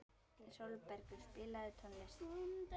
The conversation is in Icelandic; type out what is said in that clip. Sólbergur, spilaðu tónlist.